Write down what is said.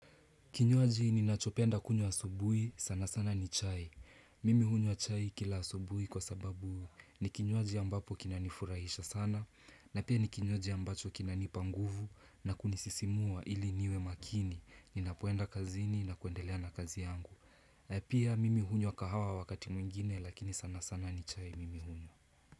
Kinywaji ninachopenda kunywa asubuhi sana sana ni chai. Mimi hunywa chai kila asubuhi kwa sababu. Ni kinywaji ambapo kinanifurahisha sana. Na pia ni kinywaji ambacho kinanipa nguvu na kunisisimua ili niwe makini. Ninapoenda kazini na kuendelea na kazi yangu. Pia mimi hunywa kahawa wakati mwingine lakini sana sana ni chai mimi hunywa.